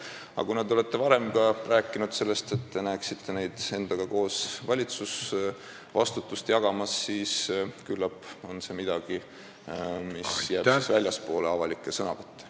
Aga kuna te olete ka varem rääkinud sellest, et te näeksite neid endaga koos valitsusvastutust jagamas, siis küllap on see midagi, mis jääb väljapoole avalikke sõnavõtte.